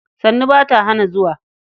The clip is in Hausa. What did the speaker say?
sannu ba ta hana zuwa.